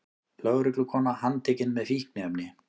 Lögreglukona handtekin með fíkniefni